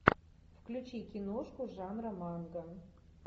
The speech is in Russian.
включи киношку жанра манго